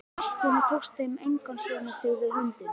Í fyrstunni tekst þeim að einskorða sig við hundinn.